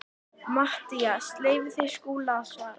MATTHÍAS: Leyfið þið Skúla að svara.